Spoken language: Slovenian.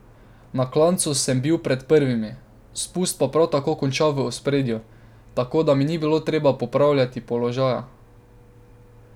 Na klancu sem bil med prvimi, spust pa prav tako končal v ospredju, tako da mi ni bilo treba popravljali položaja.